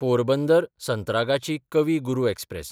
पोरबंदर–संत्रागाची कवी गुरू एक्सप्रॅस